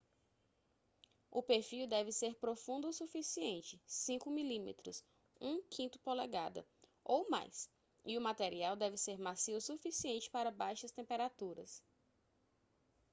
o perfil deve ser profundo o suficiente 5 mm 1/5 polegada ou mais e o material deve ser macio o suficiente para baixas temperaturas